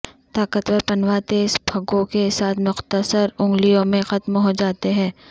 طاقتور پنواں تیز پگھوں کے ساتھ مختصر انگلیوں میں ختم ہو جاتے ہیں